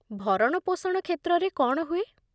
ଭରଣପୋଷଣ କ୍ଷେତ୍ରରେ କ'ଣ ହୁଏ?